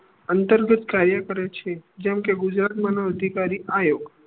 અંતર્ગત કાર્ય કરે છે જેમ કે ગુજરાત મા માનવ અધિકારી આયોગ